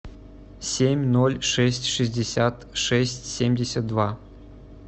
семь ноль шесть шестьдесят шесть семьдесят два